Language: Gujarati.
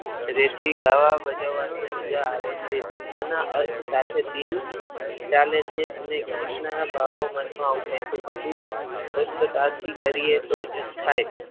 રેતી ગાવા બજાવાની મજા આવે છે શબ્દના અર્થ સાથે દિલ ચાલે છે અને ગીતના ભાવ મનમાં ઊઠે છે બધું સ્પષ્ટતાથી કરીએ તો જ થાય.